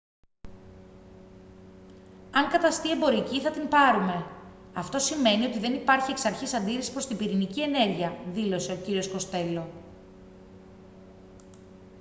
«αν καταστεί εμπορική θα την πάρουμε. αυτό σημαίνει ότι δεν υπάρχει εξαρχής αντίρρηση προς την πυρηνική ενέργεια» δήλωσε ο κ. κοστέλο